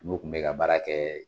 N'olu tun bɛ ka baara kɛ